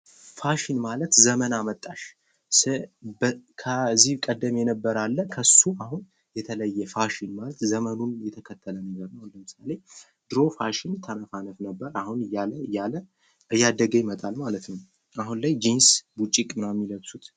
ፋሽን ማለት ዘመን አመጣሽ ከዚህ ቀደም የነበረ አለ ከሱ አሁን የተለየ ፋሽን ማለት ዘመኑን የተከተለ ነገር ነው። አሁን ለምሳሌ፦ ድሮ ፋሽን ተነፋነፍ ነበር አሁን እያለ እያለ እያደገ ይመጣል ማለት ነው። አሁን ላይ ጂንስ ቡጭቅ ምናምን የሚለብሱት።